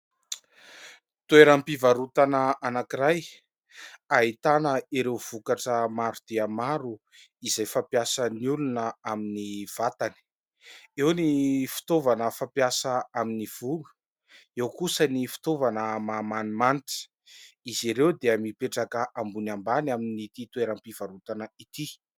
Toeram-pivarotana anankiray ahitana ireo vokatra maro dia maro izay fampiasan'ny olona amin'ny vatany, eo ny fitaovana fampiasa amin'ny volo, eo kosa ny fitaovana mahamanimanitra, izy ireo dia mipetraka ambony ambany amin'ny ity toeram-pivarotana ity.